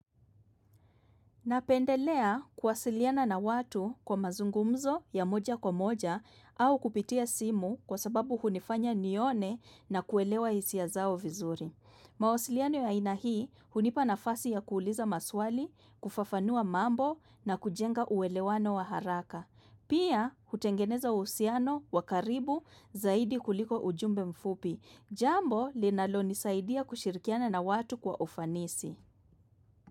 Napendelea kuwasiliana na watu kwa mazungumzo ya moja kwa moja au kupitia simu kwa sababu hunifanya nione na kuelewa hisia zao vizuri. Mawasiliano ya ainahii hunipa na fasi ya kuuliza maswali, kufafanua mambo na kujenga uelewano wa haraka. Pia hutengeneza uhusiano wakaribu zaidi kuliko ujumbe mfupi. Jambo linalo nisaidia kushirikiana na watu kwa ufanisi.